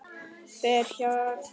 Fer hjá sér.